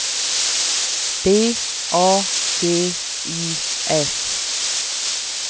D A G I S